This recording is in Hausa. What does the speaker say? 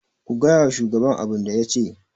ku gaya wa shugaban abin da ya ce!